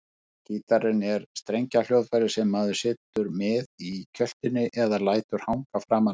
Gítarinn er strengjahljóðfæri sem maður situr með í kjöltunni eða lætur hanga framan á sér.